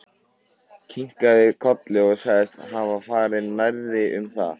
Kinkaði kolli og sagðist hafa farið nærri um það.